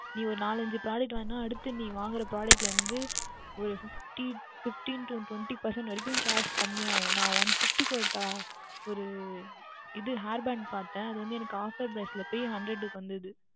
நீ ஓர் நான்கு ஐந்து Product வாங்கினால் அடுத்து நீ வாங்குகின்ற Product இல் இருந்து ஓர் Fifteen to Twenty Percentage வந்து Cash கம்மி ஆகும் நான் One Fifty க்கு ஓர் இது Hairband பார்த்தேன் அதற்கு Offer எல்லாம் போய் Hundred க்கு வந்தது